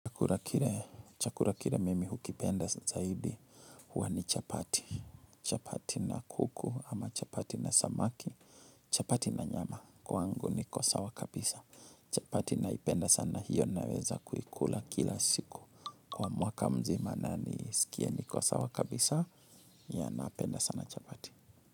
Chakula kile, chakula kile mimi hukipenda zaidi huwa ni chapati, chapati na kuku ama chapati na samaki, chapati na nyama kwangu niko sawa kabisa, chapati naipenda sana hiyo naweza kuikula kila siku, kwa mwaka mzima na nisikie niko sawa kabisa ya napenda sana chapati.